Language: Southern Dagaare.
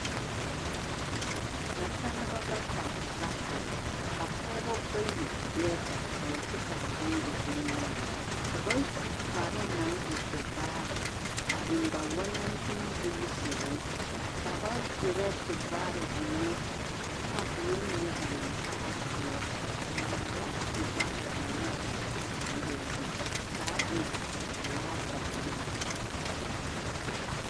Nasaleba bata la are ka pɔɡeba bayi be ba poɔ kyɛ ka dɔɔ e bonyenaa ka ba su kparoo na e tevaare a eŋ ba walantenbuusiri ka ba erɛ tevaare ennɛ taaboore mine ba naŋ kpaare poɔ a maala a tevaare ennɛ a taaboore na zu ka a e velaa zaa nyaa.